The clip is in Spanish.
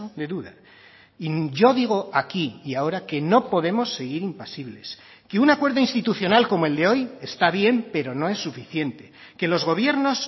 de duda y yo digo aquí y ahora que no podemos seguir impasibles que un acuerdo institucional como el de hoy está bien pero no es suficiente que los gobiernos